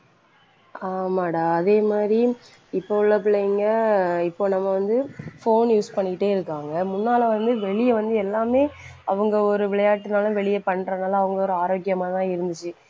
ஆமாடா அதே மாதிரி இப்ப உள்ள பிள்ளைங்க இப்ப நம்ம வந்து phone use பண்ணிக்கிட்டேயிருக்காங்க. முன்னால வந்து வெளிய வந்து எல்லாமே அவங்க ஒரு விளையாட்டுனாலும் வெளிய பண்றதெல்லாம் அவங்க ஒரு ஆரோக்கியமாதான் இருந்துச்சு.